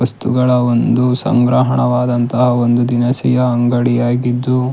ವಸ್ತುಗಳ ಒಂದು ಸಂಗ್ರಹಣವಾದಂತಹ ಒಂದು ದಿನಸಿಯ ಅಂಗಡಿಯಾಗಿದ್ದು--